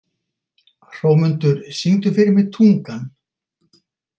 Hrómundur, syngdu fyrir mig „Tungan“.